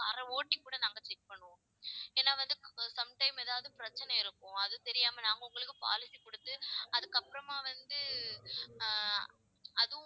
car அ ஓட்டி கூட நாங்க check பண்ணுவோம் ஏன்னா வந்து sometime ஏதாவது பிரச்சனை இருக்கும் அது தெரியாம நாங்க உங்களுக்கு policy கொடுத்து அதுக்கு அப்புறமா வந்து ஆஹ் அதுவும்